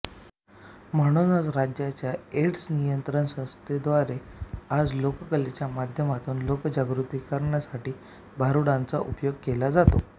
म्हणूनच राज्याच्या एड्स नियंत्रण संस्थेद्वारे आज लोककलेच्या माध्यमातून लोकजागृती करण्यासाठी भारुडांचा उपयोग केला जातो